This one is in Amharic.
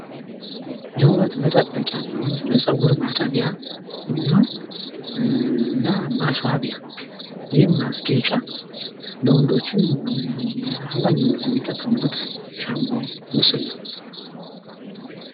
ለውበት መጠበቂያ የሚሆን ለፀጉር ማጠቢያ የሚሆን እና ማስዋቢያ ይሄም ማስጌጫ ለወንዶችም አብዛኛውን ጊዜ የሚጠቀሙበት ሻምፖ ምስል ነው።